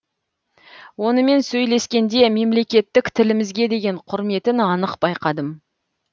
онымен сөйлескенде мемлекеттік тілімізге деген құрметін анық байқадым